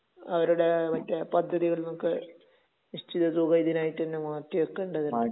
അവരുടെ മറ്റേ...പദ്ധതികളിൽ നിന്നൊക്കെ നിശ്ചിത തുക ഇതിനായിറ്റ് തന്നെ മാറ്റി വയ്‌ക്കേണ്ടതുണ്ട്.